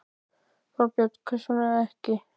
Þorbjörn: Hvers vegna ekki?